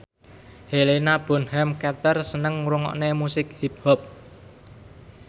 Helena Bonham Carter seneng ngrungokne musik hip hop